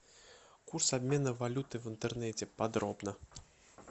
курс обмена валюты в интернете подробно